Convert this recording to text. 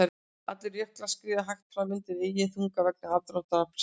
Allir jöklar skríða hægt fram undan eigin þunga vegna aðdráttarafls jarðar.